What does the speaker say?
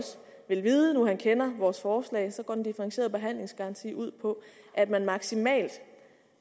vil vide nu han kender vores forslag går den differentierede behandlingsgaranti ud på at man maksimalt